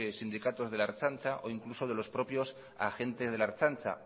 sindicatos de la ertzaintza o incluso de los propios agentes de la ertzaintza